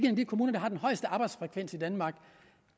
en af de kommuner der har den højeste arbejdsfrekvens i danmark og